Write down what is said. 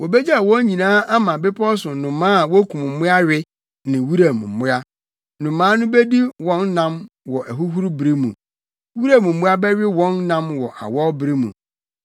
Wobegyaw wɔn nyinaa ama bepɔw so nnomaa a wokum mmoa we ne wuram mmoa; nnomaa no bedi wɔn nam wɔ ahuhuru bere mu. Wuram mmoa bɛwe wɔn nam wɔ awɔw bere mu.